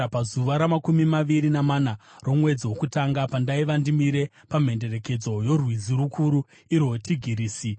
Pazuva ramakumi maviri namana romwedzi wokutanga, pandaiva ndimire pamhenderekedzo yorwizi rukuru, irwo Tigirisi,